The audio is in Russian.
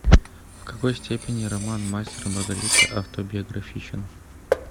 в какой степени роман мастер и маргарита автобиографичен